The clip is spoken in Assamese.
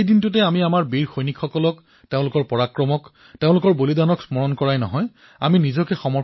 সেই দিনটোতেই আমি আমাৰ বীৰ সৈনিকসকলক তেওঁলোকৰ পৰাক্ৰমক তেওঁলোকৰ বলিদানক স্মৰণ কৰাৰ সৈতে অংশগ্ৰহণো কৰো